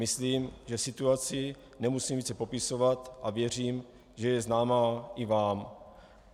Myslím, že situaci nemusím více popisovat, a věřím, že je známá i vám.